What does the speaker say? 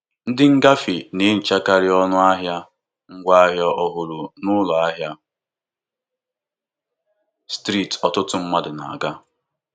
Ndị agbataobi na-enyekarị nkwado ọnụahịa bara uru mgbe ha na-azụ ihe n'ahịa mpaghara izu ụka.